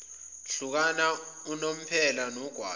ehlukana unomphela nogwayi